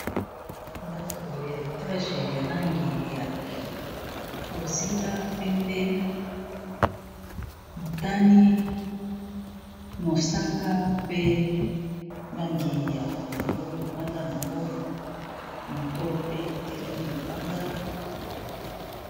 ndako ya etage ya langi ya bozinga pembe motani mosaka pe langi ya pondo libanda yango moto pe etelemi libanda